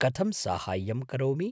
कथं साहाय्यं करोमि?